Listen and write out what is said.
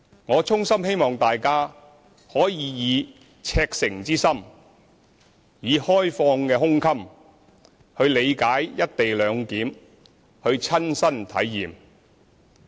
我衷心希望大家可以赤誠之心，以開放的胸襟去理解"一地兩檢"，去親身體驗。